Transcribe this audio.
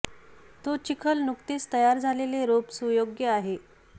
तो चिखल नुकतेच तयार झालेले रोप सुयोग्य आहे